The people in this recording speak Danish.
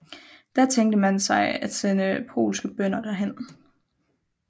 Da tænkte man sig at sende polske bønder derhen